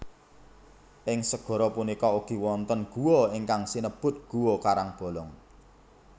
Ing segara punika ugi wonten guwa ingkang sinebut guwa karangbolong